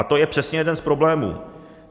A to je přesně jeden z problémů.